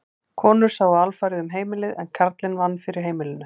Konur sáu alfarið um heimilið en karlinn vann fyrir heimilinu.